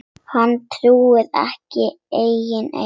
Hann trúði ekki eigin eyrum.